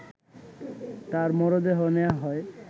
তার মরদেহ নেয়া হয়